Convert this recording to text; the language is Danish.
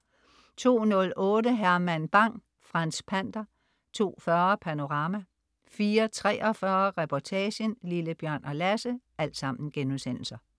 02.08 Herman Bang: Franz Pander* 02.40 Panorama* 04.43 Reportagen: Lille-Bjørn og Lasse*